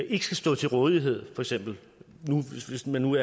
ikke skal stå til rådighed hvis man nu